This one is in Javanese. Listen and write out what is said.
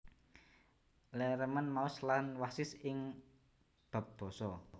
Lee remén maos lan wasis ing bab basa